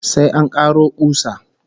Sai an karo kusa